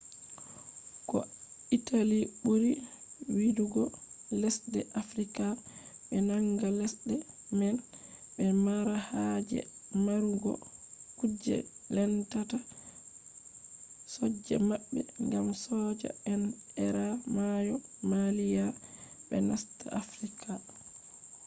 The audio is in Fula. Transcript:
ko italy buri yidugo lesde afrika. be nanga lesde man be mara haje marugo kuje lendata soja mabbe gam soja en eera mayo maalia be nasta afrika